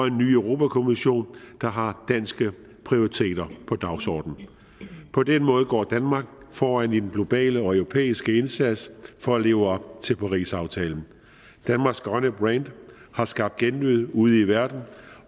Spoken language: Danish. en ny europa kommission der har danske prioriteter på dagsordenen på den måde går danmark foran i den globale og europæiske indsats for at leve op til parisaftalen danmarks grønne brand har skabt genlyd ude i verden